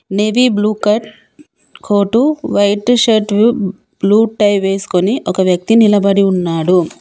నావి blue coat white shirt blue tie వేసుకొని ఒక వ్యక్తి నిలబడి ఉన్నాడు.